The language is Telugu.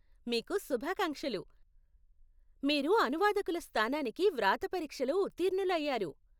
మీకు శుభాకాంక్షలు! మీరు అనువాదకుల స్థానానికి వ్రాత పరీక్షలో ఉత్తీర్ణులు అయ్యారు.